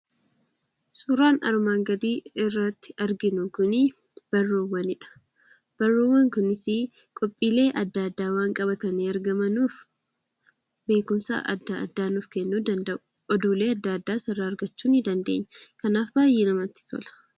Suuraan armaan gadii irratti arginu kuni barruuwwanidha. Barruuwwan kunis qophiilee adda addaa waan qabatanii waan argamanuuf, beekumsa adda addaa nuuf kennuu danda'u. Oduulee adda addaas irraa argachuu ni dandeenya. Kanaaf baay'ee namatti tola!